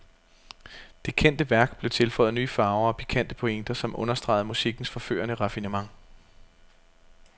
Det kendte værk blev tilføjet nye farver og pikante pointer, som understregede musikkens forførende raffinement.